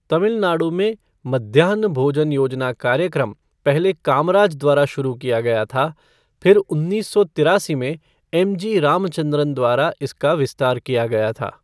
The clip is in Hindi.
तमिल नाडु में मध्याह्न भोजन योजना कार्यक्रम पहले कामराज द्वारा शुरू किया गया था, फिर उन्नीस सौ तिरासी में एमजी रामचंद्रन द्वारा इसका विस्तार किया गया था।